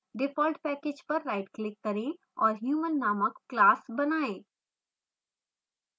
default package पर rightclick करें और human नामक class बनाएँ